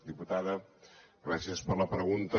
diputada gràcies per la pregunta